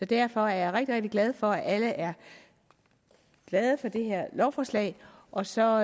derfor er jeg rigtig rigtig glad for at alle er glade for det her lovforslag og så